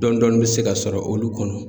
Dɔɔni dɔɔni bɛ se ka sɔrɔ olu kɔnɔ.